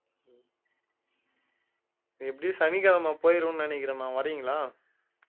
எப்படியும் சனிக்கிழமை போயிருவேன்னு நினைக்கிறேன்ணா வர்றீங்களா